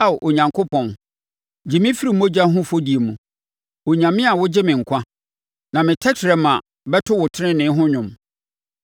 Ao Onyankopɔn, gye me firi mogya ho afɔdie mu. Onyame a wogye me nkwa, na me tɛkrɛma bɛto wo tenenee ho dwom.